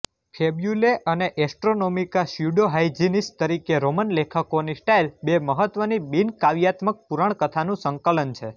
Fabulae અને Astronomica Pseudo-Hyginus તરીકે Roman લેખકોની સ્ટાઇલ બે મહત્વની બિન કાવ્યાત્મક પુરાણકથાનું સંકલન છે